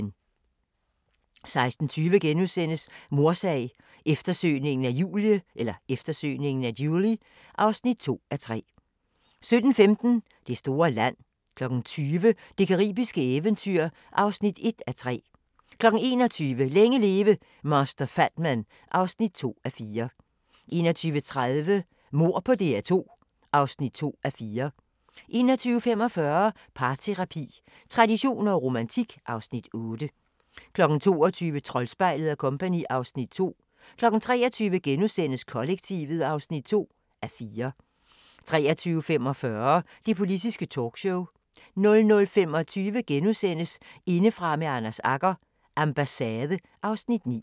16:20: Mordsag: Eftersøgningen af Julie (2:3)* 17:15: Det store land 20:00: Det caribiske eventyr (1:3) 21:00: Længe leve – Master Fatman (2:4) 21:30: Mord på DR2 (2:4) 21:45: Parterapi – traditioner og romantik (Afs. 8) 22:00: Troldspejlet & Co. (Afs. 2) 23:00: Kollektivet (2:4)* 23:45: Det Politiske Talkshow 00:25: Indefra med Anders Agger – Ambassade (Afs. 9)*